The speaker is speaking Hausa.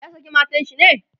ya saki matan shi ne?